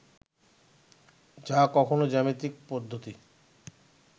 যা কখনও জ্যামিতিক পদ্ধতি